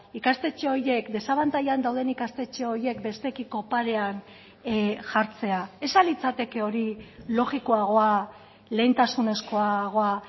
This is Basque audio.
ikastetxe horiek desabantailan dauden ikastetxe horiek besteekiko parean jartzea ez al litzateke hori logikoagoa lehentasunezkoagoa